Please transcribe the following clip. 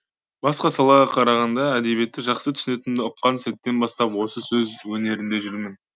басқа салаға қарағанда әдебиетті жақсы түсінетінімді ұққан сәттен бастап осы сөз өнерінде жүрмін